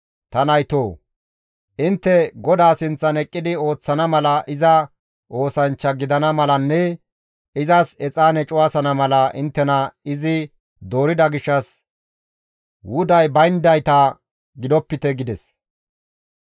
Ta naytoo! Intte GODAA sinththan eqqidi ooththana mala iza oosanchcha gidana malanne izas exaane cuwasana mala inttena izi doorida gishshas wuday bayndayta gidopite» gides.